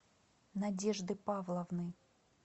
надежды павловны